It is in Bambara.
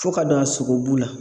Fo ka don a sogobu la.